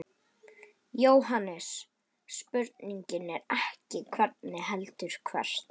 JÓHANNES: Spurningin er ekki hvenær heldur hvert.